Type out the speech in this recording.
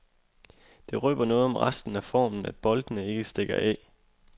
Det røber noget om resten af formen, at boldene ikke stikker af.